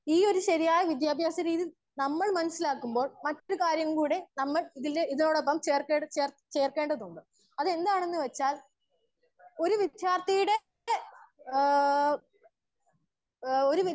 Speaker 1 ഈ ഒര്‌ ശരിയായ വിദ്യാഭ്യസ രീതിനമ്മൾ മനസ്സിലാക്കുമ്പോ മറ്റ് കാര്യങ്ങൾ നമ്മൾ ഇതിനോടൊപ്പം ചേർ ചേർക്കേണ്ടതുണ്ട്. അതെന്താണ് എന്ന് വെച്ചാൽ ഒര്‌ വിദ്യാർത്തിയുടെ ഏഹ് ഏഹ്